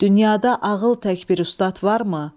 Dünyada ağıl tək bir ustad varmı?